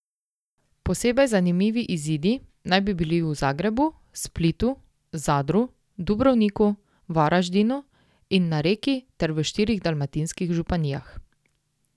Posebej zanimivi izidi naj bi bili v Zagrebu, Splitu, Zadru, Dubrovniku, Varaždinu in na Reki ter v štirih dalmatinskih županijah.